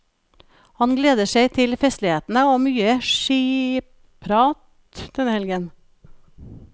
Han gleder seg til festlighetene og mye skiprat denne helgen.